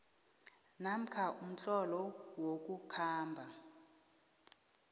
namkha umtlolo wokukhamba